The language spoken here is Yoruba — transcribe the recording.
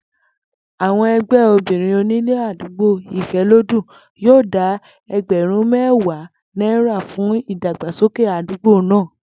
Àwo̩n e̩gbé̩ obìnrin onílé àdúgbò Ìfé̩lódùn yóò dá e̩gbè̩rún mé̩wàá náírà fún ìdàgbàsókè àdúgbò náà